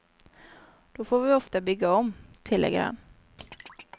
Då får vi ofta bygga om, tillägger han.